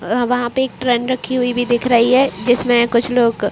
अ वहाँ पे ट्रेन एक रखी हुई भी दिख रही है जिसमें कुछ लोग --